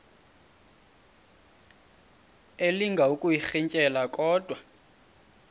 elinga ukuyirintyela kodwa